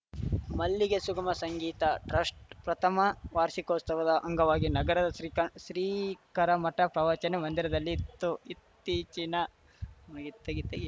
ಮಲ್ಲಿಗೆ ಸುಗಮ ಸಂಗೀತ ಟ್ರಸ್ಟ್‌ ಪ್ರಥಮ ವಾರ್ಷಿಕೋಸ್ತವ ಅಂಗವಾಗಿ ನಗರದ ಶ್ರೀ ಶಂಕ ಶ್ರೀ ಕರಮಠ ಪ್ರವಚನ ಮಂದಿರದಲ್ಲಿ ಇತ್ತು ಇತ್ತೀಚಿನ ಮುಗಿತ್ ತೆಗಿ ತೆಗಿ